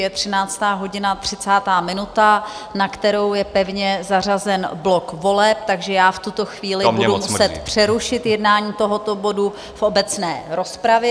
Je 13.30 hodin, na kterou je pevně zařazen blok voleb, takže já v tuto chvíli budu muset přerušit jednání tohoto bodu v obecné rozpravě.